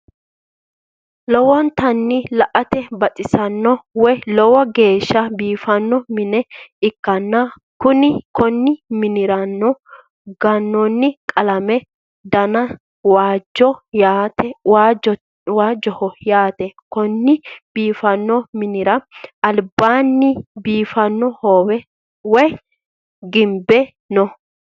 lowontanni la'ate baxisanno woyi lowo geesha biifanno minne ikanna konni minniranno ganooni qalammete danni waajoho yaate konne biifanno minnira alibaani biifanno hoowe woyi gibbe no.